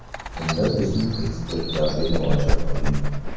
Unda bizning ekspertlarga murojaat qiling!.